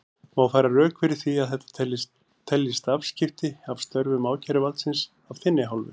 Má færa rök fyrir því að þetta teljist afskipti af störfum ákæruvaldsins af þinni hálfu?